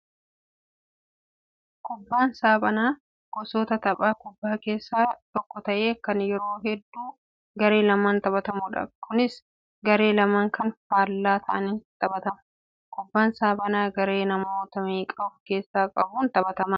Kubbaan saaphanaa gosoota tapha kubbaan keessaa tokko ta'ee kan yeroo hedduu garee lamaan taphatamudha. Kunis garee lama kan faallaa ta'aniin taphatama. Kubbaan saaphanaa garee namoota meeqa of keessaa qabuun taphatama?